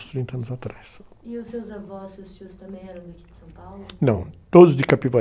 uns trinta anos atrás. os seus avós, seus tios, também eram daqui de São Paulo?ão, todos de Capivari.